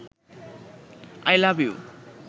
I love you